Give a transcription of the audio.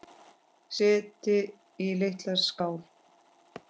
Setjið í litla skál.